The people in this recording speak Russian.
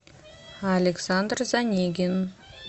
александр занегин